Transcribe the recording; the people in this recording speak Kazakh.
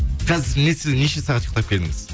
қазір неше сағат ұйықтап келдіңіз